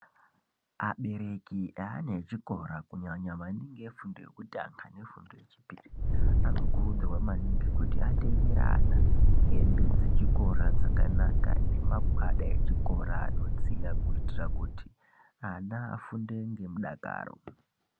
Abereki eana echikora kunyanya maningi efundo yekutanga nefundo yechipiri anokurudzirwa maningi kuti atengere ana hembe dzechikora dzakanaka nemagwada echikora anodziya kuitira kuti ana afunde ngemudakaro.